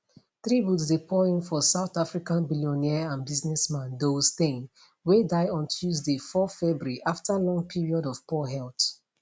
tributes dey pour in for south african billionaire and businessman douw steyn wey die on tuesday 4 february afta long period of poor health